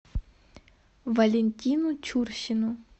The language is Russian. валентину чурсину